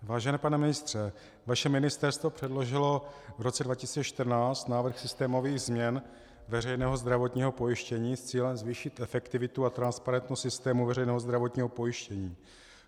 Vážený pane ministře, vaše ministerstvo předložilo v roce 2014 návrh systémových změn veřejného zdravotního pojištění s cílem zvýšit efektivitu a transparentnost systému veřejného zdravotního pojištění.